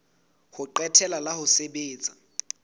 ho qetela la ho sebetsa